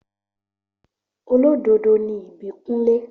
Olódodo ni Ìbíkúnlé